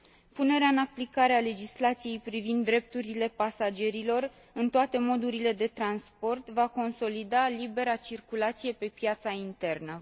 Punerea în aplicare a legislației privind drepturile pasagerilor în toate modurile de transport va consolida libera circulație pe piața internă.